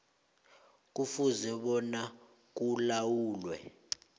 kufuze bona kulalelwe